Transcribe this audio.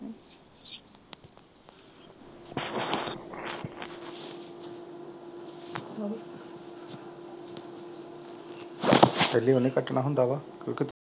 ਪਹਿਲੇ ਉਹਨੇ ਕੱਟਣਾ ਹੁੰਦਾ ਵਾ